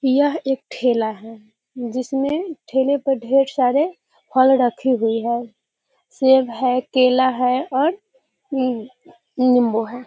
यह एक ठेला है जिसमे ठेले पर ढेर सारे फल रखी हुइ है सेब है केला है और मम निंम्बू है।